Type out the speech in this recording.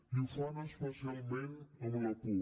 i ho fan especialment amb la por